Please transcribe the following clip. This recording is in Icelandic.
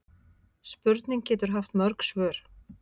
Spurning getur haft mörg svör.